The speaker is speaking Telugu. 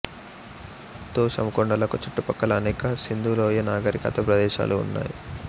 తోషామ్ కొండలకు చుట్టుపక్కల అనేక సింధు లోయ నాగరికత ప్రదేశాలు ఉన్నాయి